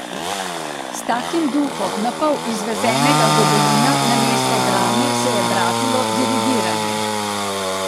S takim duhom napol izvezenega gobelina namesto drame se je bratilo dirigiranje.